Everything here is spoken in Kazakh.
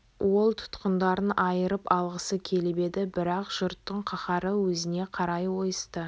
ол тұтқындарын айырып алғысы келіп еді бірақ жұрттың қаһары өзіне қарай ойысты